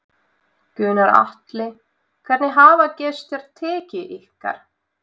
Gunnar Atli: Hvernig hafa gestir tekið ykkar?